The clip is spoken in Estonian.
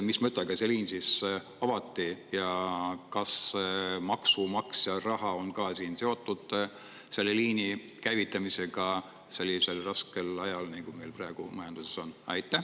Mis mõttega see liin avati ja kas maksumaksja raha on ka siin seotud selle liini käivitamisega sellisel raskel ajal, nagu meil praegu majanduses on?